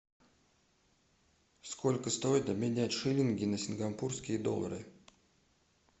сколько стоит обменять шиллинги на сингапурские доллары